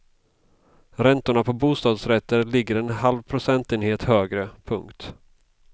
Räntorna på bostadsrätter ligger en halv procentenhet högre. punkt